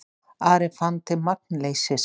Ari fann til magnleysis.